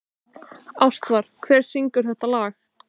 Ástvar, hver syngur þetta lag?